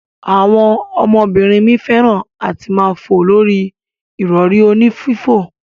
Awon omo binrin mi feran ati maa fo lori irori oni fifo.